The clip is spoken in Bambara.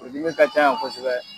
Furu dimi ka can yan kosɛbɛ.